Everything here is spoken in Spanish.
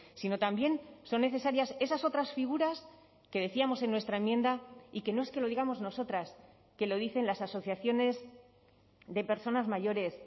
sino también son necesarias esas otras figuras que decíamos en nuestra enmienda y que no es que lo digamos nosotras que lo dicen las asociaciones de personas mayores